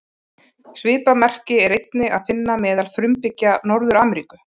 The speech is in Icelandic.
Svipað merki er einnig að finna meðal frumbyggja Norður-Ameríku.